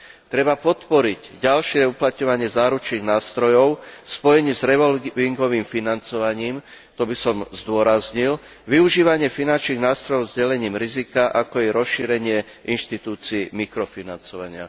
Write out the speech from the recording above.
Treba podporiť ďalšie uplatňovanie záručných nástrojov v spojení s revolvingovým financovaním, to by som zdôraznil, využívanie finančných nástrojov s delením rizika, ako je rozšírenie inštitúcií mikrofinancovania.